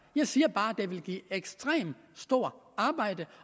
jeg siger bare at det ville give ekstremt stort arbejde